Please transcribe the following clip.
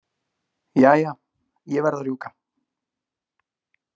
Jæja, ég verð að rjúka.